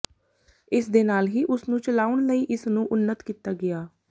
ਇਸ ਦੇ ਨਾਲ ਹੀ ਉਸ ਨੇ ਚਲਾਉਣ ਲਈ ਇਸ ਨੂੰ ਉੱਨਤ ਕੀਤਾ ਗਿਆ